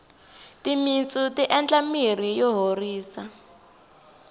timintsu ti endla mirhi yo horisa